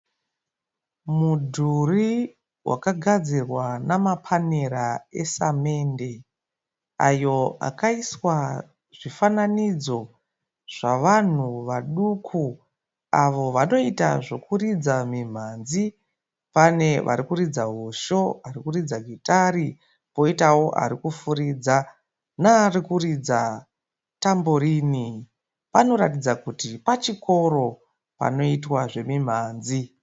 Mudhuri wakagadzirwa namapanera esamende ayo akaiswa zvifananidzo zvavanhu vaduku avo vanoita zvokuridza minhanzi. Pane varikuridza hosho, arikuridza gitari poitawo arikufuridza nearikuridza tamborini. Panoratidza kuti pachikoro panoitwa zvemimhanzi.